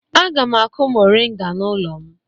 Aga m akụ moringa n'ụlọ m.